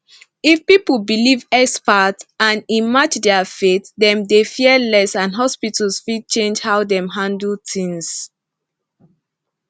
if people believe expert and e match their faith dem dey fear less and hospitals fit change how dem handle things